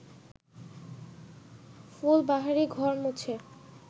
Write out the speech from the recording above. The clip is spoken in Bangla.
ফুলবাহারি ঘর মুছে